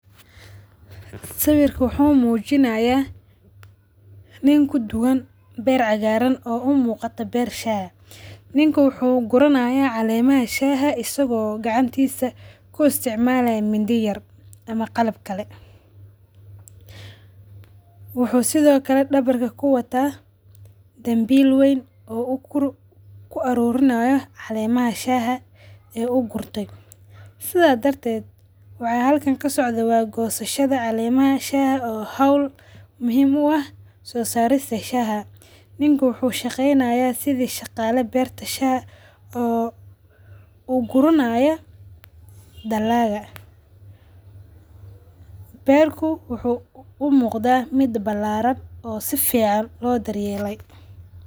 Sawirka wuxu mujinaya nin kuduwaan beer cagaran oo umuqata beer shaa eeh. Nin wuxu gurunaya calemaha shaa eeh isago gacantisa ku isticmalaya mindi yar ama qalab kale. Wuxu sidho kale dawarka kuwataa dambiil weyn oo ku arurinayo calemaha shaa ee ugurte sidhaa darteet waxa halkaan ksocdo waa goshasadha calemaha shaa oo hawl muhiim u aah so sarista shaa. Ninkii wuxu shageynaya sidha shaqala beerta shaa oo ugurunayo dalaqa beerka wuxu u muqda mid balaran oo safican loo dar yeele.